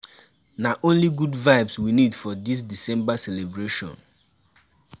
Na only good vibes we need for dis December celebration.